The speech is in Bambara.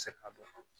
Se a bɛɛ fɔ